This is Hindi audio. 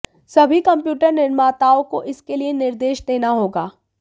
सभी कंप्यूटर निर्माताओं को इसके लिए निर्देश देना होगा